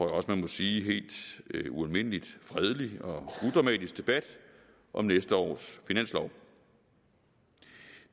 også man må sige helt ualmindelig fredelig og udramatisk debat om næste års finanslov